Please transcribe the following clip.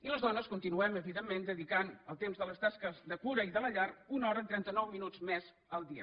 i les dones continuem evidentment dedicant al temps de les tasques de cura i de la llar una hora i trenta nou minuts més al dia